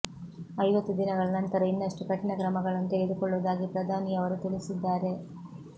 ಐವತ್ತು ದಿನಗಳ ನಂತರ ಇನ್ನಷ್ಟು ಕಠಿಣ ಕ್ರಮಗಳನ್ನು ತೆಗೆದುಕೊಳ್ಳುವುದಾಗಿ ಪ್ರಧಾನಿಯವರು ತಿಳಿಸಿದ್ದಾರೆ